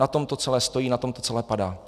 Na tom to celé stojí, na tom to celé padá.